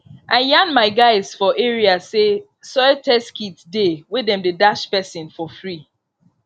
i yan my guys for area say soil test kit dey wey dem dey dash person for free